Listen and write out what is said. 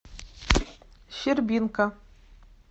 щербинка